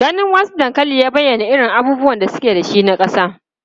Ganin wasu dankalin ya bayyana irin abubuwan da suke da shi na kasa.